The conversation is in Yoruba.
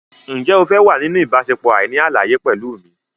Ǹjẹ́ o fẹ́ wà nínú ìbáṣepọ̀ àìní àlàyé pẹ̀lú mi?